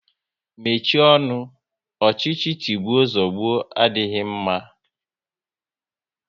Mechie ọnụ! Ọchịchị tigbuo zugbo adịghị mma